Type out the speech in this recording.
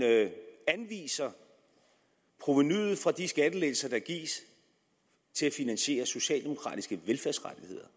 anviser provenuet fra de skattelettelser der gives til at finansiere socialdemokratiske velfærdsrettigheder